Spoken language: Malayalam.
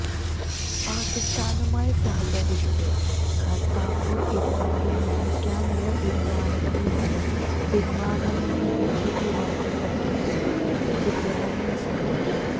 പാക്കിസ്ഥാനുമായി സഹകരിച്ച് കര്താര്പുര് ഇടനാഴി നിര്മ്മിക്കാനുള്ള തീരുമാനത്തില് നിന്ന് പിന്മാറണമെന്ന് ബിജെപി രാജ്യസഭ എംപി സുബ്രഹ്മണ്യന് സ്വാമി